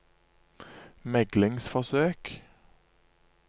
meglingsforsøk